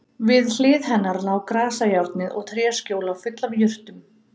Við hlið hennar lá grasajárnið og tréskjóla full af jurtum.